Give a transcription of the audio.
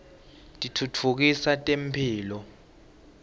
titfutfukisa temphilo